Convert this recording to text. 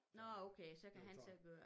Nå okay så kan han så køre